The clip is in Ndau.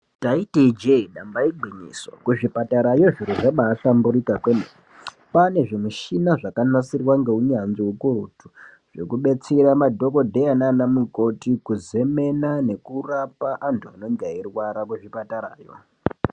Taiti Ije damba igwinyiso kuzvipatarayo zviro zvabahlamburuka kwemene kwane zvimushina zvakanasirwa neunyanzvi ukurutu yekudetsera madhokodheya nana mukoti kuzemena nekuraoa antu anenge achirwara kuzvipatarayo.